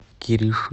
кириши